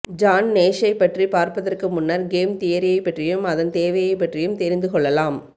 John நேஷ்ஷைப்பற்றி பார்ப்பதற்கு முன்னர் கேம் தியரியைப்பற்றியும் அதன் தேவையைப்பற்றியும் தெரிந்து கொள்ளலாம்